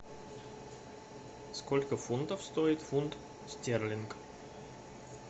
сколько фунтов стоит фунт стерлингов